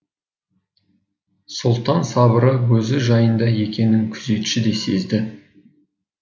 сұлтан сыбыры өзі жайында екенін күзетші де сезді